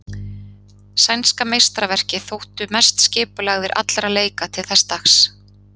Sænska meistaraverkið þóttu best skipulagðir allra leika til þess dags.